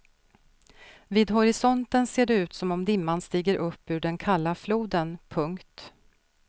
Vid horisonten ser det ut som om dimman stiger upp ur den kalla floden. punkt